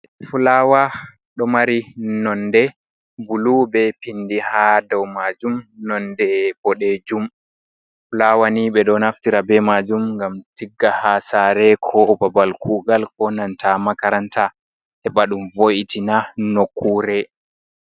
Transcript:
Fulawa ɗo mari nonde bulu be pindi ha dow majum be nonde boɗejum. Fulawa ni ɓe ɗo naftira be majum ngam tigga ha sare ko babal kugal, ko nanta makaranta heɓa ɗum vo, itina nokkure.